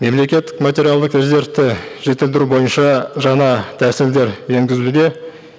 мемлекеттік материалдық резервті жетілдіру бойынша жаңа тәсілдер енгізуде